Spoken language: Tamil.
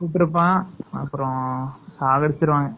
சுற்றுப்பன் அப்பறம் சாகடிச்சுருவாங்க.